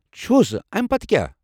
چھُس. امہِ پتہٕ کیٛاہ ؟